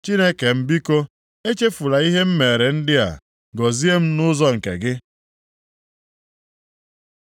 Chineke m biko, echefula ihe m meere ndị a, gọzie m nʼụzọ nke gị.